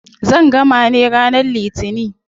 Zan gama ne ranar litinin.